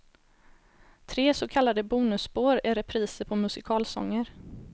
Tre så kallade bonusspår är repriser på musikalsånger.